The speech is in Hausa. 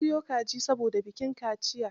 An soyo kaji saboda bikin kaciyar.